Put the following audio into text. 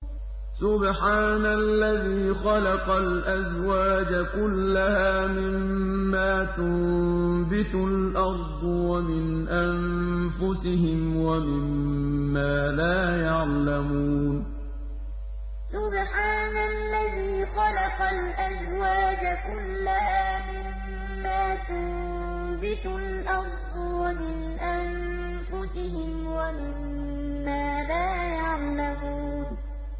سُبْحَانَ الَّذِي خَلَقَ الْأَزْوَاجَ كُلَّهَا مِمَّا تُنبِتُ الْأَرْضُ وَمِنْ أَنفُسِهِمْ وَمِمَّا لَا يَعْلَمُونَ سُبْحَانَ الَّذِي خَلَقَ الْأَزْوَاجَ كُلَّهَا مِمَّا تُنبِتُ الْأَرْضُ وَمِنْ أَنفُسِهِمْ وَمِمَّا لَا يَعْلَمُونَ